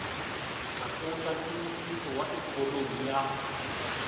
tlakusa nhluvukiso wa ikhonomi ya